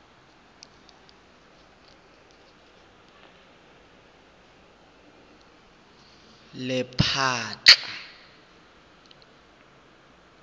lephatla